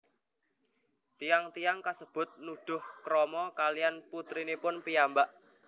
Tiyang tiyang kasebut nuduh krama kalihan putrinipun piyambak